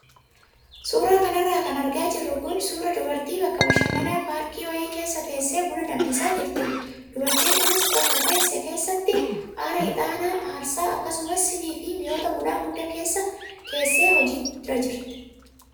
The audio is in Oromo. Suuraa kanarra kan argaa jirru kun suuraa dubartii bakka bashannanaa paarkii wayii keessa teessee buna danfisaa jirtudha. Dubartiin kunis bakka teesse keessatti aara ixaanaa aarsaa, akkasumas siinii fi mi'oota bunaa hunda keessee hojiirra jirti.